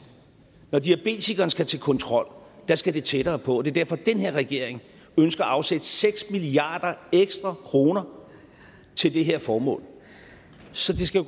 når diabetikeren skal til kontrol skal det tættere på det er derfor at den her regering ønsker at afsætte seks milliarder ekstra kroner til det her formål så det skal